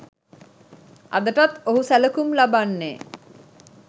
අදටත් ඔහු සැලකුම් ලබන්නේ